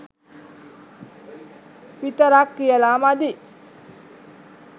විතරක් කියලා මදි.